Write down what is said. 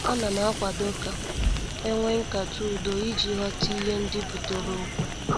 Anam akwado ka enwee nkata udo iji ghọta ihe ndị butere okwu.